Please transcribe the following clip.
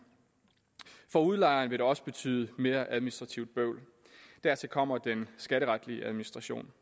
for udlejeren vil det også betyde mere administrativt bøvl dertil kommer den skatteretlige administration